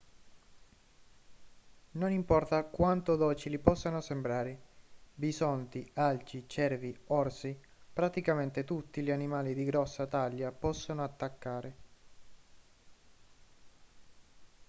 non importa quanto docili possano sembrare bisonti alci cervi orsi praticamente tutti gli animali di grossa taglia possono attaccare